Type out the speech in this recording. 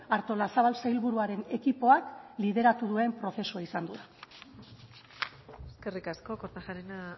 artolazabal sailburuaren ekipoak lideratu duen prozesua izango da eskerrik asko kortajarena